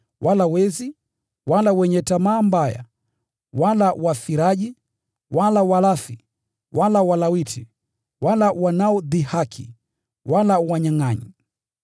wala wezi, wala wenye tamaa mbaya, wala walevi, wala wanaodhihaki, wala wanyangʼanyi hawataurithi Ufalme wa Mungu.